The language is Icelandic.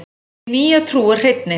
Hin nýja trú er hreinni.